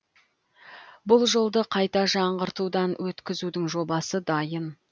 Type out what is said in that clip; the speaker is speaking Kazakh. бұл жолды қайта жаңғыртудан өткізудің жобасы дайын